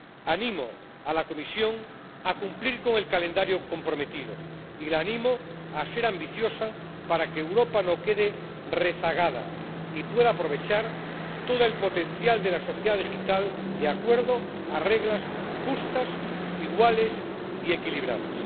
Animo a la Comisión a cumplir con el calendario comprometido y la animo a ser ambiciosa para que Europa no quede rezagada y pueda aprovechar todo el potencial de la sociedad digital, de acuerdo con reglas justas, iguales y equilibradas.